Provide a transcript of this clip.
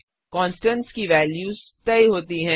constants की values तय होती हैं